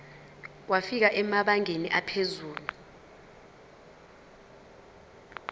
wafika emabangeni aphezulu